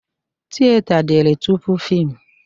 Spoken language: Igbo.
Tiyeta dịrị tupu fịmụ